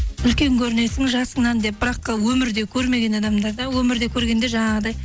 үлкен көрінесің жасыңнан деп бірақ өмірде көрмеген адамдар да өмірде көргенде жаңағыдай